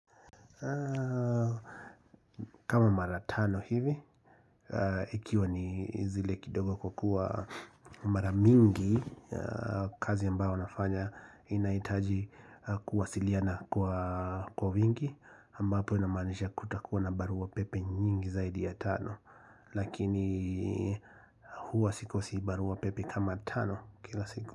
Kama mara tano hivi Ikiwa ni zile kidogo kwa kuwa mara mingi kazi ambayo nafanya inahitaji kuwasiliana kwa wingi kama hapo inamaanisha kutakuwa na barua pepe nyingi zaidi ya tano Lakini huwa sikosi barua pepe kama tano kila siku.